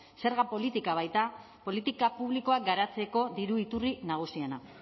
zerga politika baita politika publikoak garatzeko diru iturri nagusiena